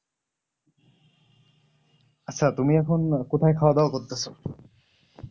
আচ্ছা তুমি এখন কোথায় খাওয়া দাওয়া করতেছ?